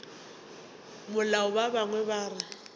mola ba bangwe ba re